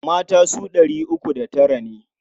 Mata su ɗari uku da tara ne.